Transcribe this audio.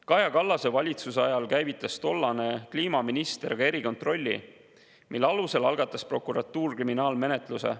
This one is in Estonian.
Kaja Kallase valitsuse ajal käivitas tollane kliimaminister ka erikontrolli, mille alusel algatas prokuratuur kriminaalmenetluse.